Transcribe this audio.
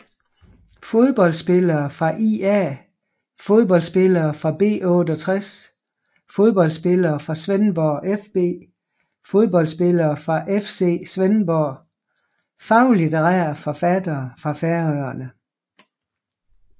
Fodboldspillere fra ÍA Fodboldspillere fra B68 Fodboldspillere fra Svendborg fB Fodboldspillere fra FC Svendborg Faglitterære forfattere fra Færøerne